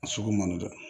A sugu man di dɛ